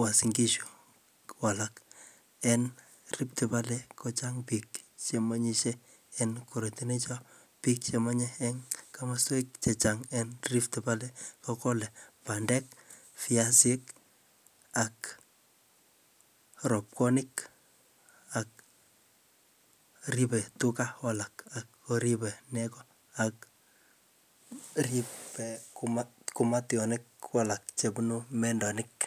wasingishu, en rifti valle kochang biik chemengishe en komosweek chechang en rifti valle kogole bandeek, viasiik ak ropwoniik ak ribe tuuga alaak, riibe neego ak riibe kumationik ko alak chebunu mendoniik.